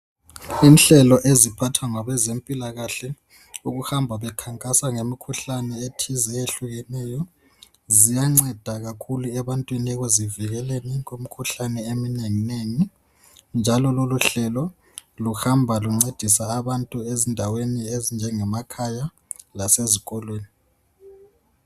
Inhlelo eziphathwa ngabezempilakahle ukuhamba bekhankasa ngemikhuhlane ethize eyehlukeneyo ziyanceda kakhulu ebantwini ekuzivikeleni kumikhuhlane eminengi nengi njalo lolo hlelo luhamba luncedisa abantu ezindaweni ezinjenge makhaya lasezikolweni.